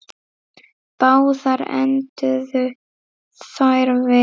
Báðar enduðu þær vel.